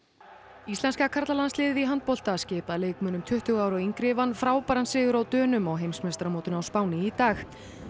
íslenska karlalandsliðið í handbolta skipað leikmönnum tuttugu ára og yngri vann frábæran sigur á Dönum á heimsmeistaramótinu á Spáni í dag